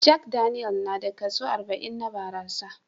Jack Daniel na da kaso arba'in na barasa